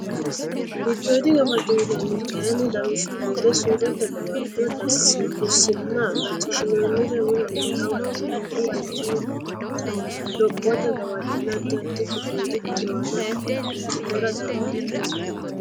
Giddooydi gawajjo yinanniri kayinni lawishshu gede surrete gawajjo dussimma macciishshinoonnire mulenni hawa deerru aleenni huwata lophote gawajjonna addi addi giddoydi xiwana ikkitara dandiitanno.